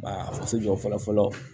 Ba faso jɔ fɔlɔ fɔlɔ